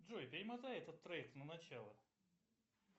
джой перемотай этот трек на начало